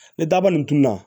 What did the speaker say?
Ni daba nin dunna